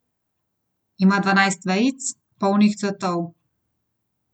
Ima dvanajst vejic, polnih cvetov.